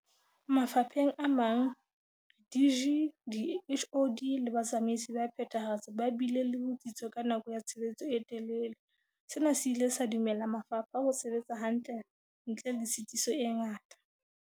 Mafapheng a mang, di-DG, di-HoD le batsamaisi ba phethahatso ba bile le bo tsitso ka nako ya tshebetso e telele, sena se ile sa dumella mafapha ho sebetsa hantle ntle le tshitiso e ngata.